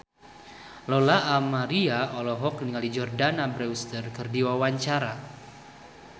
Lola Amaria olohok ningali Jordana Brewster keur diwawancara